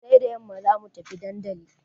Sai da yamma za mu tafi dandali.